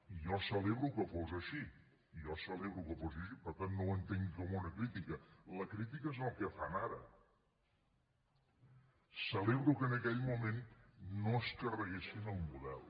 i jo celebro que fos així jo celebro que fos així per tant no ho entenguin com una crítica la crítica és el que fan ara celebro que en aquell moment no es carreguessin el model